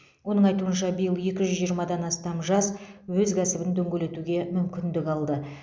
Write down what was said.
оның айтуынша биыл екі жүз жиырмадан астам жас өз кәсібін дөңгелетуге мүмкіндік алды